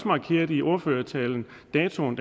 markerede i ordførertalen datoen